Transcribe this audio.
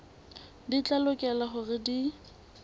di tla lokela hore di